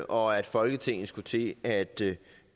og at folketinget skulle til at til